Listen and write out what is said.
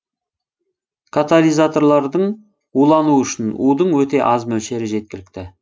катализаторлардын улануы үшін удың өте аз мөлшері жеткілікті